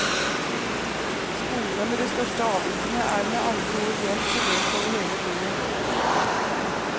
Skolene med de største avvikene er med andre ord jevnt fordelt over hele byen.